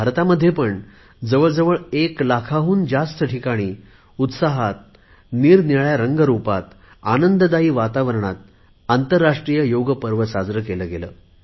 भारतामध्येपण जवळ जवळ एक लाखापेक्षा जास्त ठिकाणी उत्साहात निरनिराळ्या रंगरुपाबरोबर आनंददायी वातावरणात आंतरराष्ट्रीय योग पर्व साजरे केले गेले